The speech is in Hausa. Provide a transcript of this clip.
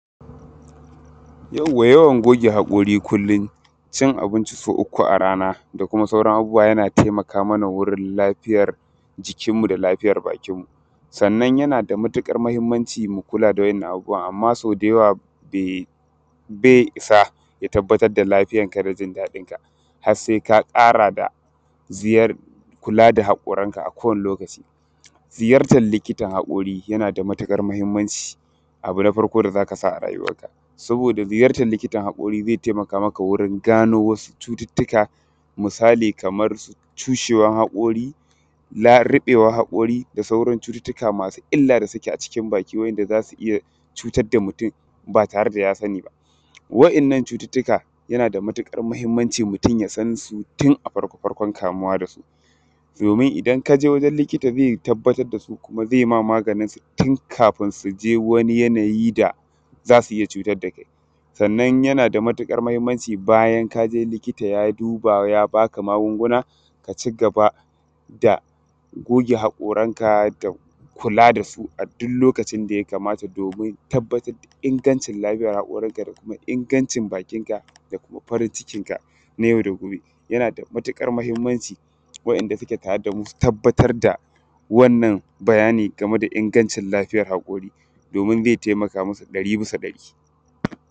Yawa-yawan goge haƙori kullum cin abinci so uku a rana da kuma sauran abubbuwa yana taimaka mana wurin lafiyar jikinmu da lafiyar bakinmu sannan yana da matuƙar mahinmanci mu kula da waɗannan abubbuwa amma so da yawa dai ba isa ya tabbatar da lafiyarka da jin daɗinka har sai ka ƙara da ziyarar kula da haƙorinka a kodayaushe. Ziyartar likitan haƙori yana da matuƙar mahinmanci abu na farko da za ka sa a rayuwanka saboda ziyartar likitan haƙori zai taimaka wurin gano wasu cututtuka misali kamar cushewan haƙori, da ruɓewan haƙori, da sauran cututtuka da suke a cikin bakinka masu illa da za su iya cutar da mutum ba tare da ya sani ba. Waɗannan cututtuka yana da matuƙar mahinmanci mutum ya san su tun a farko-farkon kamuwa da su domin idan ka je wurin likita ze tabbatar da su, kuma ze ba ka maganin su tun kafin su je wani yanayi da za su iya cutar da kai. Sannan yana da matuƙar mahinmanci, bayan ka je wurin likita ya duba, ya baka magunguna, ka cigaba da goge haƙoranka da kula da su a duk lokacin da ya kamata, domin tabbatar da ingancin lafiyar haƙorinka, da kuma ingancin bakinka, da kuma farin cikinka yana da matuƙar mahinmanci waɗanda suke tare da mu su tabbatar da wannan bayani game da ingancin haƙori, domin ze taimaka musu ɗari bisa ɗari.